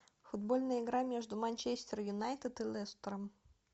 футбольная игра между манчестер юнайтед и лестером